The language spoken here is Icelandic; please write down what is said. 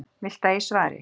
Viltu að ég svari?